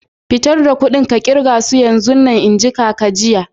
Fitar da kuɗin ka kirga shi yanzun! n'ji kaka jiya.